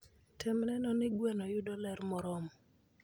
Tem neno ni gweno yudo ler moromo.